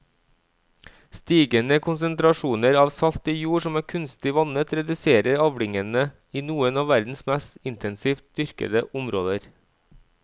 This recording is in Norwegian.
Stigende konsentrasjoner av salt i jord som er kunstig vannet reduserer avlingene i noen av verdens mest intensivt dyrkede områder.